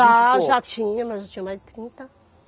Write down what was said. Já, já tinha, mas eu já tinha mais de trinta.